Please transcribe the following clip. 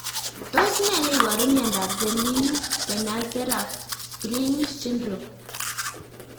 Tos nee neiparu miondop Selig Benacerraf Greene syndrome?